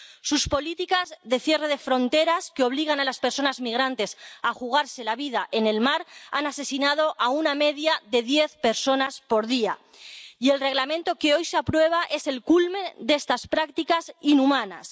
Sus políticas de cierre de fronteras, que obligan a las personas migrantes a jugarse la vida en el mar, han asesinado a una media de diez personas por día, y el Reglamento que hoy se aprueba es el culmen de estas prácticas inhumanas.